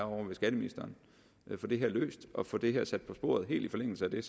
er ovre ved skatteministeren få det her løst og få sat det her på sporet helt i forlængelse af det